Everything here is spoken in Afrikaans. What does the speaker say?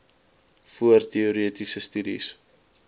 voor teoretiese studies